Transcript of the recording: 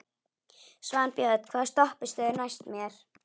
Svanbjörn, hvaða stoppistöð er næst mér?